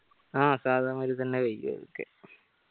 ആ സാധാ മാതിരി തന്നെ കയ്യുഅ ഇതൊക്കെ